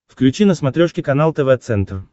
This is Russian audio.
включи на смотрешке канал тв центр